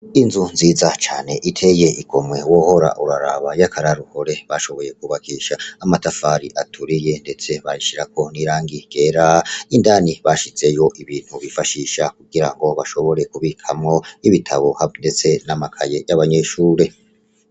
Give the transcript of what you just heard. Inzu nziza cane iteye igomwe wohora uraraba y'akararuhore bashoboye kubakisha amatafari aturiye, ndetse bashirako nirangi gera indani bashizeyo ibintu bifashisha kugira ngo bashobore kubikamwo ibitabo habu, ndetse n'amakaye y'abanyeshure.